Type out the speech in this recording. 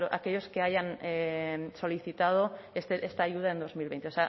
a aquellos que hayan solicitado esta ayuda en dos mil veinte